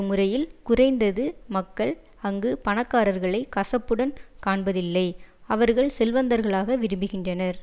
முறையில் குறைந்தது மக்கள் அங்கு பணக்காரர்களை கசப்புடன் காண்பதில்லை அவர்கள் செல்வந்தர்களாக விரும்புகின்றனர்